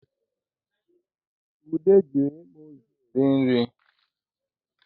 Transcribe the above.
Ude ji ịkpụịzụ eri nri